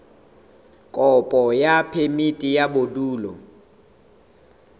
kopo ya phemiti ya bodulo